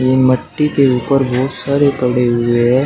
यह मिट्टी के ऊपर बहुत सारे पड़े हुए हैं।